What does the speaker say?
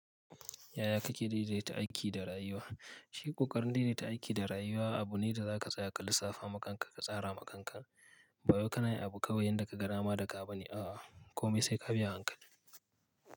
Yaya ka ke daidaita aiki da rayuwa? Shi ƙoƙarin daidakta aiki da rayuwa. Abu ne da za ka tsaya ka lissafa ma kanka ka tsara ma kanka. Bawai ka na yin abu kawai yanda ka ga dama da ka bane a'a, kome se ka bi hankali.